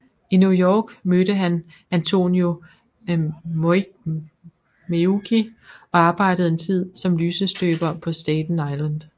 I New York mødte han Antonio Meucci og arbejdede en tid som lysestøber på Staten Island